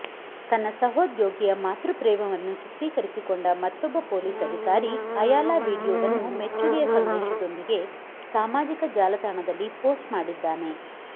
ತನ್ನ ಸಹೋದ್ಯೋಗಿಯ ಮಾತೃಪ್ರೇಮವನ್ನು ಚಿತ್ರೀಕರಿಸಿಕೊಂಡ ಮತ್ತೊಬ್ಬ ಪೊಲೀಸ್ ಅಧಿಕಾರಿ ಅಯಾಲ ವಿಡಿಯೋವನ್ನು ಮೆಚ್ಚುಗೆಯ ಸಂದೇಶದೊಂದಿಗೆ ಸಾಮಾಜಿಕ ಜಾಲತಾಣದಲ್ಲಿ ಪೋಸ್ಟ್ ಮಾಡಿದ್ದಾನೆ